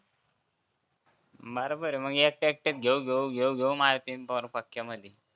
बरोबर आहे मग एकटे एकट्यात घेऊ घेऊ घेऊ घेऊ मारतीन मग पक्क्यामध्ये